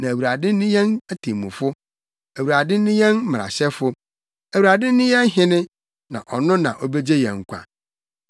Na Awurade ne yɛn temmufo, Awurade ne yɛn mmarahyɛfo, Awurade ne yɛn hene; na ɔno na obegye yɛn nkwa.